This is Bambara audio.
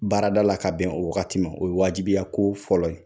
Baarada la ka bɛn o wagati, o ye wajibiya ko fɔlɔ ye.